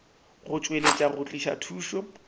go tšweletša go tliša thušo